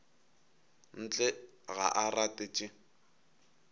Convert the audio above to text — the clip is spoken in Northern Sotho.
ntle ga a rate tše